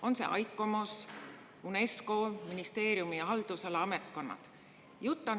On see ICOMOS, UNESCO, on need ministeeriumi haldusala ametkonnad?